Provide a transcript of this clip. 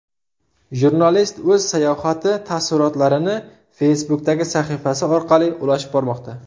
Jurnalist o‘z sayohati taassurotlarini Facebook’dagi sahifasi orqali ulashib bormoqda.